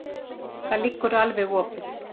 Það liggur alveg opið.